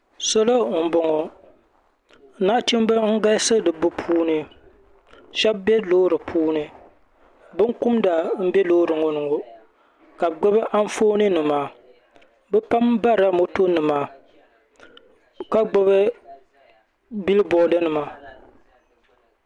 salo n bɔŋɔ nachimbi n galisi bi puuni shab bɛ loori puuni binkumda n bɛ loori ŋɔ ni ŋɔ ka bi gbubi Anfooni nima bi pam barila moto nima ka gbubi bil bood nima